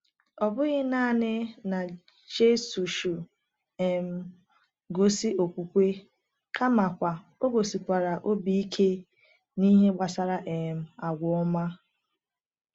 Ọ bụghị naanị na Jisọshụ um gosi okwukwe, kamakwa o gosikwara obi ike n’ihe gbasara um agwa ọma.